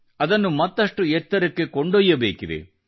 ಅದನ್ನು ಮತ್ತಷ್ಟು ಎತ್ತರಕ್ಕೆ ಕೊಂಡೊಯ್ಯಬೇಕಿದೆ